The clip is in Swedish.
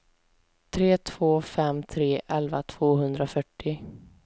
tre två fem tre elva tvåhundrafyrtio